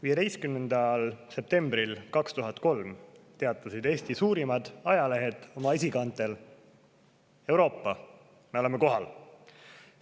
15. septembril 2003 teatas Eesti suurim ajaleht oma esikaanel: "Euroopa, me oleme kohal!